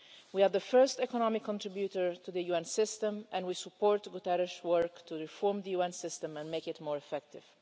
We are the first economic contributor to the UN system, and we support Guterres' work to reform the UN system and make it more effective.